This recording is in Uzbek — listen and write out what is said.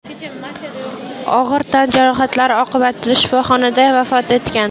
og‘ir tan jarohatlari oqibatida shifoxonada vafot etgan.